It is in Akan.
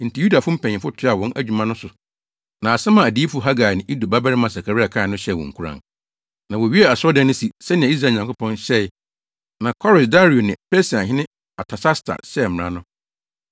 Enti Yudafo mpanyimfo toaa wɔn dwumadi no so na asɛm a adiyifo Hagai ne Ido babarima Sakaria kae no hyɛɛ wɔn nkuran. Na wowiee asɔredan no si, sɛnea Israel Nyankopɔn hyɛe na Kores, Dario ne Persiahene Artasasta hyɛɛ mmara no.